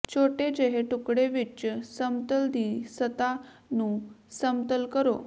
ਛੋਟੇ ਜਿਹੇ ਟੁਕੜੇ ਵਿੱਚ ਸਮਤਲ ਦੀ ਸਤ੍ਹਾ ਨੂੰ ਸਮਤਲ ਕਰੋ